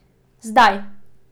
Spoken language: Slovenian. Zdaj!